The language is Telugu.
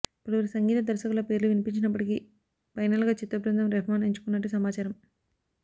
పలువురు సంగీత దర్శకుల పేర్లు వినిపించినప్పటికీ పైనల్గా చిత్ర బృందం రెహ్మాన్ ఎంచుకున్నట్టు సమాచారం